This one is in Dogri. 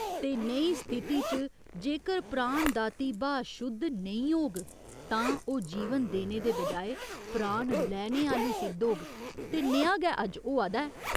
ते नेही स्थिति च जेकर प्राण दाती ब्हाऽ शुद्ध नेईं होग तां ओह् जीवन देने दे बजाए प्राण लैने आह्‌ली सिद्ध होग ते नेहा गै अज्ज होआ दा ऐ।